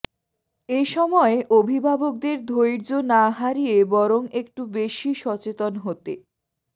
এ সময় অভিভাবকদের ধৈর্য না হারিয়ে বরং একটু বেশি সচেতন হতে